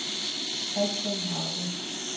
Kristian Hauge